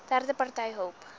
derde party hulp